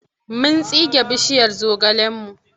Mun tsige bishiyar zogalenmu.